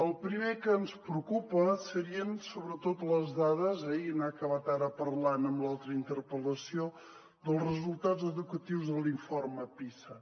el primer que ens preocupa serien sobretot les dades i n’ha acabat ara parlant en l’altra interpel·lació dels resultats educatius de l’informe pisa